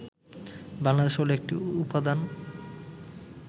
বাংলাদেশ হলো একটি উপাদান